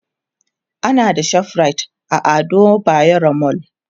ana da ShopRite a Ado bayero mall